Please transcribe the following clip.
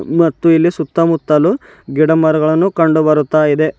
ಮತ್ತೆ ಇಲ್ಲಿ ಸುತ್ತಮುತ್ತಲು ಗಿಡಮರಗಳನ್ನು ಕಂಡು ಬರುತ್ತಾ ಇದೆ.